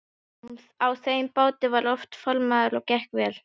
Á þeim báti var hann formaður og gekk vel.